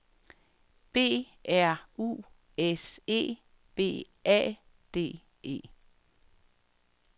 B R U S E B A D E